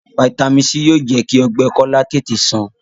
Vitamins c yóò jẹ kí ogbè kola tètè sàn.